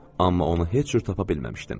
Amma onu heç cür tapa bilməmişdim.